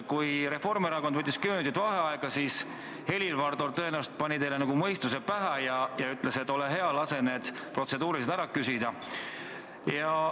Kui Reformierakond võttis kümme minutit vaheaega, siis Helir-Valdor tõenäoliselt pani teile mõistuse pähe ja ütles, et ole hea, lase need protseduurilised küsimused ära küsida.